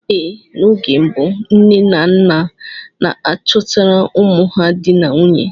Ee, n'oge mbụ nne na nna n'achọtara ụmụ ha dị na nwunye.